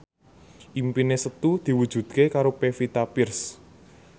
impine Setu diwujudke karo Pevita Pearce